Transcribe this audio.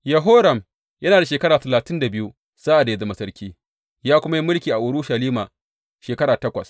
Yehoram yana da shekara talatin da biyu sa’ad da ya zama sarki, ya kuma yi mulki a Urushalima shekara takwas.